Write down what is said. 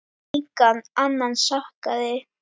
Engan annan sakaði.